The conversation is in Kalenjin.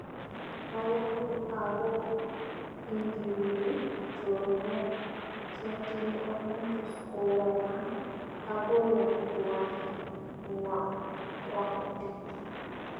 mayanu agoi ingiuni choronog cheatinye amun tos kowalag agoyaywan kwangutig